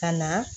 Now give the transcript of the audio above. Ka na